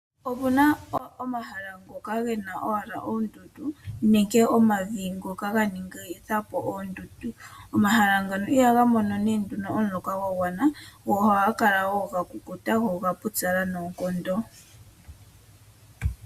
Ope na omahala ngoka ge na owala oondundu nenge omavi ngoka haga ningi po oondundu. Omahala ngoka ihaga mono omuloka gwa gwana. Ohaga kala ga kukuta noga pyupyala noonkondo.